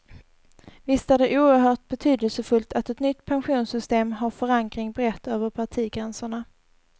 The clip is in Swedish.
Visst är det oerhört betydelsefullt att ett nytt pensionssystem har förankring brett över partigränserna.